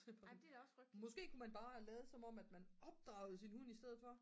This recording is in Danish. måske kunne man bare lade som om at man opdragede sin hund i stedet for